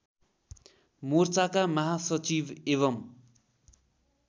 मोर्चाका महासचिव एवं